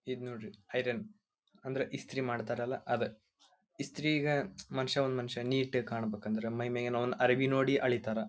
ಇದ್ ನೋಡ್ರಿ ಐರನ್ ಅಂದರ ಇಸ್ತ್ರಿ ಮಾಡ್ತಾರಲ್ಲ ಅದ ಇಸ್ತ್ರಿ ಈಗ ಮನುಷ್ಯ ಒಂದ್ ಮನುಷ್ಯ ನೀಟ್ ಆಗಿ ಕಾಣಬೇಕಂದ್ರ ಮೈಮೇಗಿನ ಅರೇಬಿ ನೋಡಿ ಅಳಿತರ.